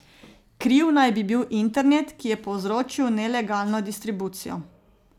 Kriv naj bi bil internet, ki je povzročil nelegalno distribucijo.